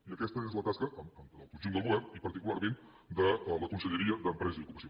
i aquesta és la tasca del conjunt del govern i particularment de la conselleria d’empresa i ocupació